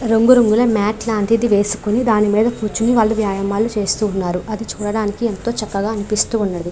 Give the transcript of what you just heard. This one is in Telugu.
రంగు రంగుల మత్ లాంటిది వేసుకొని దాని మీద కూర్చుని వాళ్లు వ్యాయామలు చేస్తున్నారు అది చూడడానికి ఎంతో చక్కగా అనిపిస్తూ ఉన్నది.